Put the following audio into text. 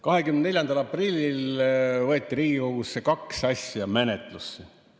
24. aprillil võeti Riigikogus kaks asja menetlusse.